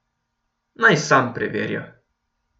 Naj sam preverja.